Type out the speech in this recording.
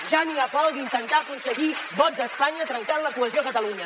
ja n’hi ha prou d’intentar aconseguir vots a espanya trencant la cohesió a catalunya